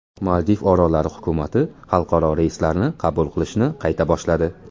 Maldiv orollari hukumati xalqaro reyslarni qabul qilishni qayta boshladi.